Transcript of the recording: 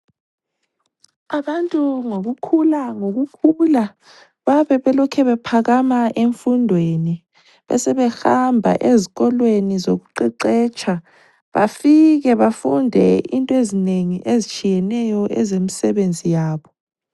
Abantu ngokukhula ngokukhula bayabe belokhe bephakama emfundweni besehamba ezikolweni zokuqeqetsha bafike bafunde into ezinengi ezitshiyeneyo ezemsebenzi yabo.